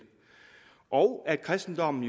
og at kristendommen